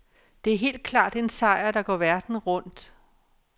Det er helt klart en sejr, der går verden rundt.